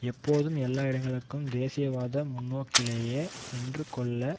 எப்போதும் எல்லா இடங்களிலும் தேசியவாத முன்நோக்கிலேயே நின்றுகொண்டுள்ள